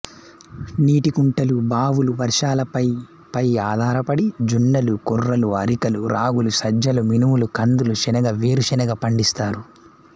నీటికుంటలు బావులు వర్షాలపై పైఆధారపడి జొన్నలు కొర్రలు ఆఱికలు రాగులు సజ్జలు మినుములు కందులు శనగ వేరుశెనగ పండిస్తారు